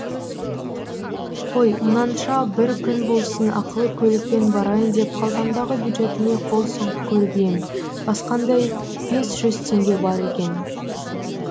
қой мұнанша бір күн болсын ақылы көлікпен барайын деп қалтамдағы бюджетіме қол сұғып көріп ем бақандай бес жүз теңге бар екен